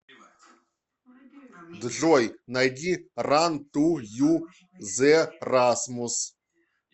джой найди ран ту ю зе расмус